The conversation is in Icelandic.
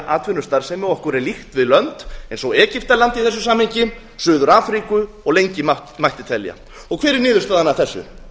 atvinnustarfsemi okkur er líkt við lönd eins og egyptaland í þessu samhengi suður afríku og lengi mætti telja hver er niðurstaðan af þessu